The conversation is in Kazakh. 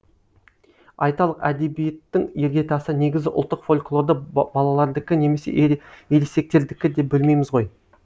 айталық әдебиеттің іргетасы негізі ұлттық фольклорды балалардікі немесе ересектердікі деп бөлмейміз ғой